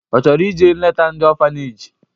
Ọ chọrọ ije leta ndị ọfaneji?